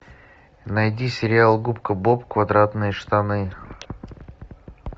найди сериал губка боб квадратные штаны